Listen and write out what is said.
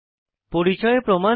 পরিচয় প্রমাণ কি